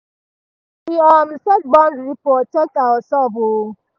we um set boundary protect ourselves um